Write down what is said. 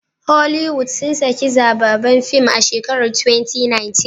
Holiwood sun saki zbabban film a shekarar 2016